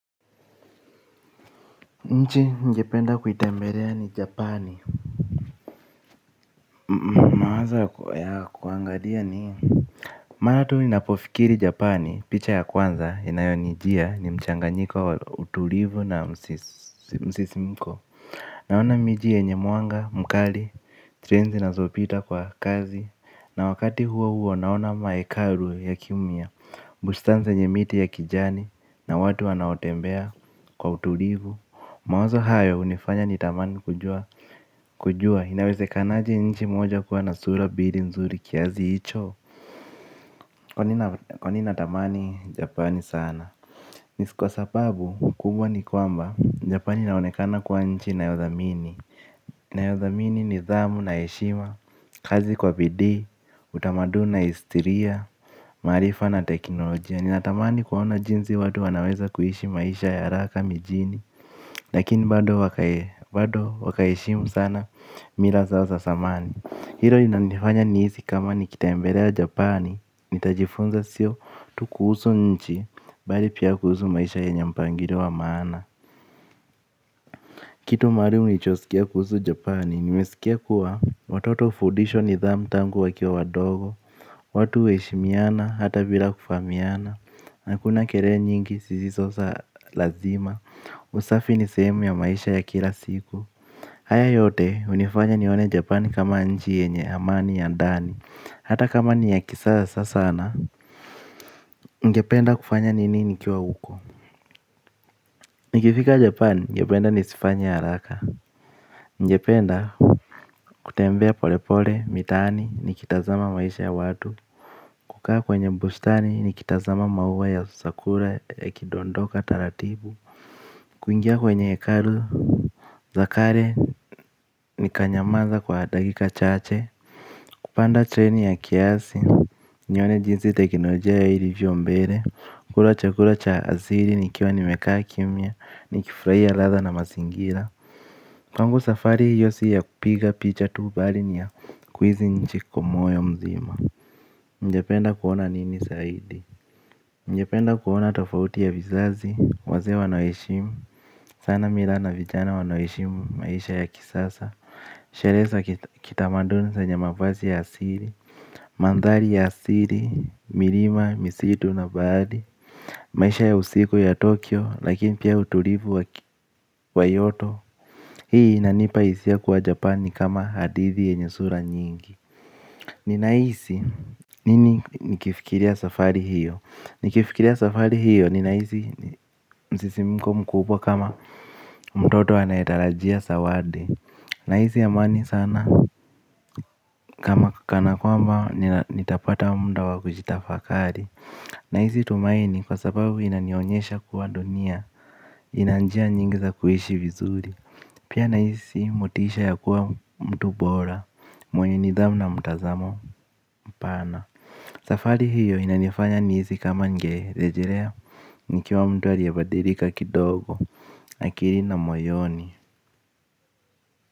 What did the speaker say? Nchi ningependa kuitembelea ni Japani. Mawazo ya kuangalia ni mara tu ni napofikiri Japani picha ya kwanza inayonijia ni mchanganyiko wa utulivu na msisimko. Naona miji yenye mwanga, mkali, treni zinazopita kwa kasi na wakati huo huo naona maekaru ya kiumia bustani zenye miti ya kijani na watu wanaotembea kwa utulivu. Mawazo hayo hunifanya nitamani kujua. Kujua inawezekanaje nchi moja kuwa na sura mbili nzuri kiasi hicho kwani natamani Japani sana. Ni kwa sababu kubwa ni kwamba Japani inaonekana kuwa nchi nayothamini. Nayothamini nidhamu na heshima, kazi kwa bidii, utamaduni na historia, maarifa na teknolojia. Ninatamani kuona jinsi watu wanaweza kuishi maisha ya haraka mijini lakini bado wa kaheshimu sana mila zao zamani. Hilo linanifanya nihisi kama nikitembelea japani. Nitajifunza sio tu kuhusu nchi bali pia kuhusu maisha yenye mpangilio wa maana kitu maalum nilichoskia kuhusu japani nimeskia kuwa watoto hufundishwa nithamu tangu wakiwa wadogo watu huheshimiana hata bila kufahamiana na hakuna kelele zisizo za lazima. Usafi ni sehemu ya maisha ya kila siku. Haya yote hunifanya nione japani kama nchi yenye amani ya ndani hata kama ni ya kisasa sasana. Ningependa kufanya nini nikiwa huko. Nikifika japani ningependa nisifanye haraka ningependa kutembea polepole mitaani nikitazama maisha ya watu. Kukaa kwenye bustani nikitazama maua ya sakura ya kidondoka taratibu. Kuingia kwenye hekalu za kale nikanyamaza kwa dakika chache. Kupanda treni ya kiasi. Nione jinsi teknolojia yao ilivyo mbele. Kula chakula cha asili nikiwa nimekaa kimya. Ni kifurahia latha na mazingira. Kwangu safari hiyo si ya kupiga picha tu bali ni ya kuhisi nchi kwa moyo mzima. Ningependa kuona nini zaidi. Ningependa kuona tofauti ya vizazi. Wazee wanaoheshimu sana mila na vijana wanaoheshimu maisha ya kisasa. Sherehe za kitamaduni zenye mavazi ya asili mandhari ya asili milima misitu na baadhi maisha ya usiku ya tokyo lakini pia utulivu wa kyoto hii inanipa hisia kuwa japan nikama hadithi yenye sura nyingi ninahisi nini nikifikiria safari hiyo nikifikiria safari hiyo ninahisi msisimko mkubwa kama mtoto anayetarajia zawadi nahisi amani sana kama kana kwamba nitapata muda wa kujitafakari nahisi tumaini kwa sababu inanionyesha kuwa dunia ina njia nyingi za kuishi vizuri. Pia nahisi motisha ya kuwa mtu bora, mwenye nidhamu na mtazamo mpana. Safari hiyo inanifanya nihisi kama ningerejelea, nikiwa mtu aliyebadilika kidogo, akili na moyoni.